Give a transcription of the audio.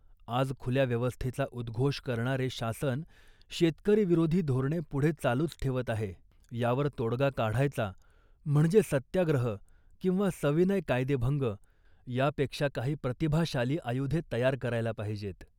आज खुल्या व्यवस्थेचा उद्घोष करणारे शासन शेतकरीविरोधी धोरणे पुढे चालूच ठेवत आहे. यावर तोडगा काढायचा म्हणजे सत्याग्रह किंवा सविनय कायदेभंग यापेक्षा काही प्रतिभाशाली आयुधे तयार करायला पाहिजेत